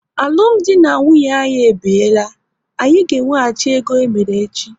Alụmdi na nwunye anyị e biela, anyị ga ewehachi ego emere echi!